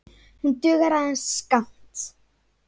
Hún dugar aðeins skammt.